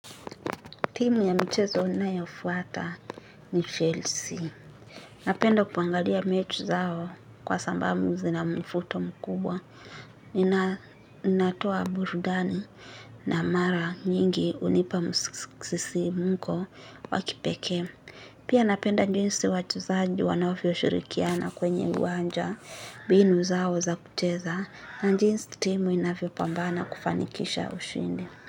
Timu ya michezo ninayo fuata ni chelsea. Napenda kuangalia mechi zao kwa sababu zina mvuto mkubwa. Inatoa burudani na mara nyingi hunipa msisimko wakipeke. Pia napenda jinsi wachezaji wanavyo shirikiana kwenye wanja mbinu zao za kucheza. Jinsi timu inavyo pambana kufanikisha ushindi.